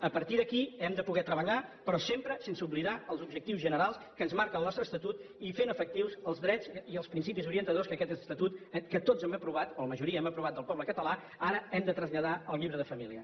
a partir d’aquí hem de poder treballar però sempre sense oblidar els objectius generals que ens marca el nostre estatut i fent efectius els drets i els principis orientadors que tots hem aprovat o la majoria hem aprovat del poble català que ara hem de traslladar al llibre de família